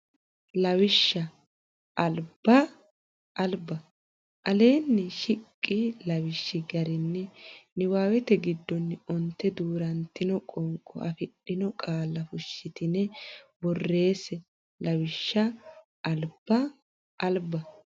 Lawishsha albba alba Aleenni shiqi lawishshi garinni niwaawete giddonni onte duu rantino qoonqo afidhino qaalla fushshitine borreesse Lawishsha albba alba.